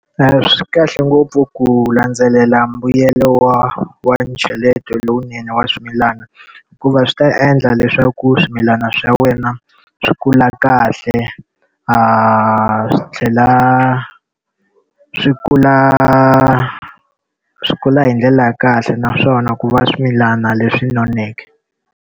Swi kahle ngopfu ku landzelela mbuyelo wa wa ncheleto lowunene wa swimilana, hikuva swi ta endla leswaku swimilana swa wena swi kula kahle swi tlhela swi kula swi kula hi ndlela ya kahle naswona ku va swimilana leswi noneke.